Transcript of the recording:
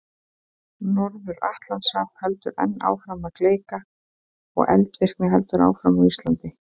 Norður-Atlantshaf heldur enn áfram að gleikka og eldvirkni heldur áfram á Íslandi.